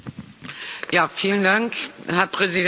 Herr Präsident, Herr Kommissar!